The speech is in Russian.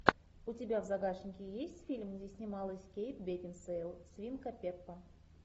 у тебя в загашнике есть фильм где снималась кейт бекинсейл свинка пеппа